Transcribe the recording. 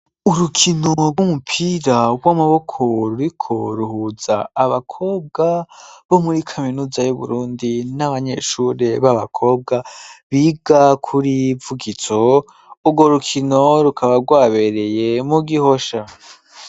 Urukino rw'umupira rw'amaboko ruriko ruhuza abakobwa bo muri kaminuza y' Uburundi n'abanyeshuri b'abakobwa biga kuri Vugitso, urwo rukino rukaba rwabereye mu Gihosha.